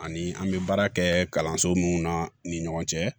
Ani an bɛ baara kɛ kalanso munnu na ni ɲɔgɔn cɛ